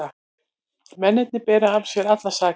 Mennirnir bera af sér allar sakir